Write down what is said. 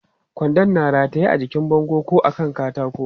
Kwandon na rataye a jikin bango ko a kan katako.